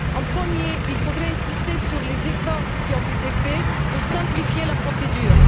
Premièrement, il faudrait insister sur les efforts qui ont été faits pour simplifier la procédure.